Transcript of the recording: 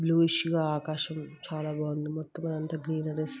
Bluish గ ఆకాశం చాల బాగుంది. మొత్తం అదంతా గ్రీనరీశ్ --